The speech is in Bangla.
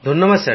ধন্যবাদ